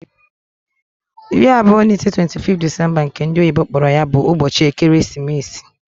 25th (iri abụọ na ise) Disemba bu ubochi ekeresimeesi.